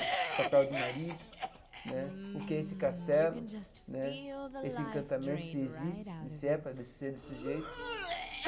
o papel de marido né, o que é esse castelo né, esse encantamento, se existe, se é para ser desse jeito.